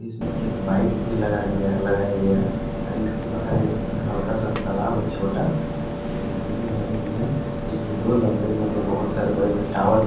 इसमें एक बाइक भी लगा गया है लगाया गया है और इसके बाहर एक हल्का सा तालाब है छोटा जिसमे सीढ़ी बनाई हुई है इसमें दो लंबे लंबे बहौत सारे बड़े बड़े टावर भी है।